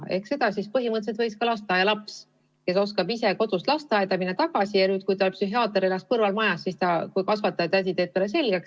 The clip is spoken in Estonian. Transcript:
Ehk põhimõtteliselt võiks ka lasteaialaps, kes oskab ise kodust lasteaeda minna ja tagasi tulla, psühhiaatri juurde minna, kui psühhiaater elab näiteks tema kõrvalmajas ja kui kasvatajatädi teeb talle selle võimaluse selgeks.